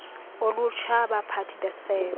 olutsha abaphathi besebe